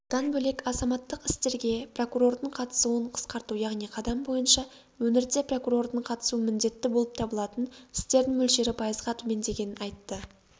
бұдан бөлек азаматтық істерге прокурордың қатысуын қысқарту яғни қадам бойынша өңірде прокурордың қатысуы міндетті болып табылатын істердің мөлшері пайызға төмендегенін айтты